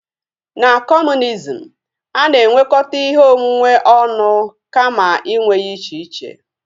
Na kọmunizm, a na-enwekọta ihe onwunwe ọnụ kama inwe ya iche iche